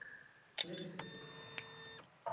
Ég bað út í myrkrið.